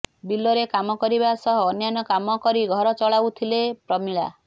ବିଲ ରେ କାମ କରିବା ସହ ଅନ୍ୟାନ୍ୟ କାମ କରି ଘର ଚଳାଉଥିଲେ ପ୍ରମିଳା